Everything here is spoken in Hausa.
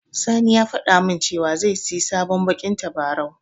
Sani ya faɗa min cewa zai siyi sabon baƙin tabarau.